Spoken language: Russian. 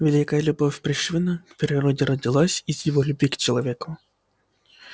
великая любовь пришвина к природе родилась из его любви к человеку